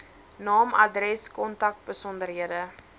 naam adres kontakbesonderhede